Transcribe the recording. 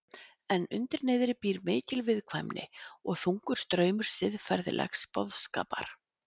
En undir niðri býr mikil viðkvæmni og þungur straumur siðferðilegs boðskapar.